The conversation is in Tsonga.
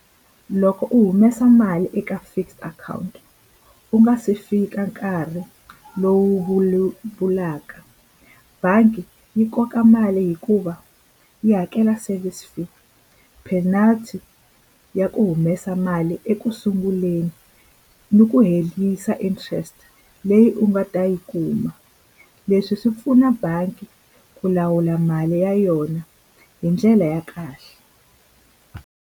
Loko u humesa mali eka fixed akhawunti ku nga se fika nkarhi lowu vulaka bangi yi koka mali hikuva yi hakela service fee penalty ya ku humesa mali ekusunguleni ni ku herisa interest leyi u nga ta yi kuma leswi swi pfuna bangi ku lawula mali ya yona hi ndlela ya kahle.